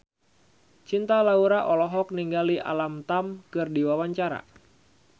Cinta Laura olohok ningali Alam Tam keur diwawancara